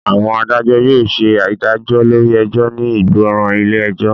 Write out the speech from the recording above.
Àwọn adájọ́ yóò ṣe ìdájọ́ lórí ẹjọ́ ní ìgbọràn ilé ẹjọ́